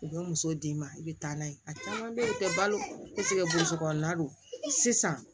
U bɛ muso d'i ma i bɛ taa n'a ye a caman bɛ tɛ balo burusi kɔnɔna don sisan